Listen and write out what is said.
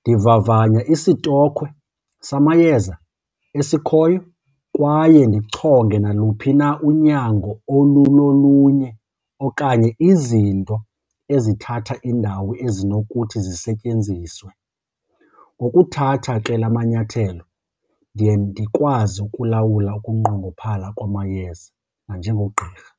Ndivavanya isitokhwe samayeza esikhoyo kwaye ndichonge naluphi na unyango olulolunye okanye izinto ezithatha indawo ezinokuthi zisetyenziswe. Ngokuthatha ke la manyathelo ndiye ndikwazi ukulawula ukunqongophala kwamayeza nanjengogqirha.